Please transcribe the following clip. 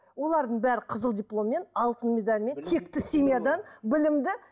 олардың бәрі қызыл дипломмен алтын медальмен текті семьядан білімді